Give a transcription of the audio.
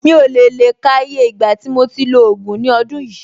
Mi ò lè le ka iye ìgbà tí mo ti lo ògùn ní ọdún yìí.